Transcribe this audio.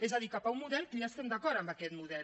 és a dir cap a un model que ja hi estem d’acord amb aquest model